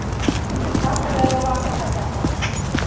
ka morero wa ho matlafatsa